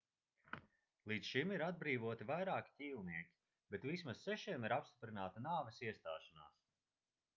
līdz šim ir atbrīvoti vairāki ķīlnieki bet vismaz sešiem ir apstiprināta nāves iestāšanās